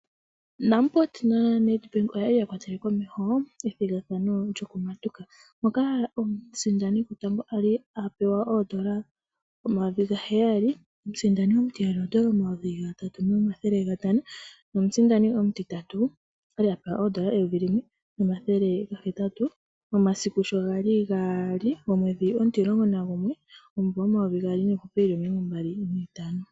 Namport na NedBank oyali ya kwatele komeho ethigathano lyokumatuka. Moka omusindani gotango ali a pewa oodola omayovi gaheyali. Omusindani omutiyali oodola omayovi gatatu nomathele gatano. Nomusindani omutitatu okwa li a pewa oodola eyovi limwe nomathele ga hetatu momasiku sho gali gaali gomwedhi omutimulongo nagumwe momumvo omayovi gaali niihupe omilongo mbali niitano.